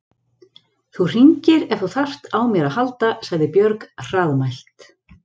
Þú hringir ef þú þarft á mér að halda, sagði Björg hraðmælt.